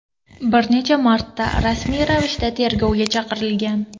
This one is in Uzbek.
bir necha marta rasmiy ravishda tergovga chaqirtirilgan.